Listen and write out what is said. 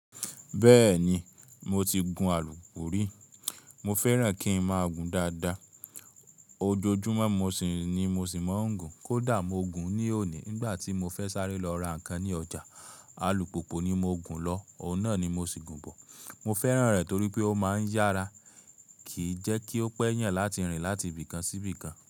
Bẹ́ẹ̀ni, mo ti gun alùpùpù rí, mo fẹ́ràn kí n má gùn dáadáa. Ojoojúmọ́ mo sì ní, mo sì máa ń gùn. Kódà mo gùn ní òní nígbà tí mo fẹ́ sáré lọ ra ǹkan ní ọjà, alùpùpù ni mo gùn lọ, ọ̀un nà ni mo sì gùn bọ̀. Mo fẹ́ràn rẹ̀ torí pé ó máa ń yára, kì í jẹ́ kí ó pẹ́ yàn láti rìn láti ibìkan sí ibìkan.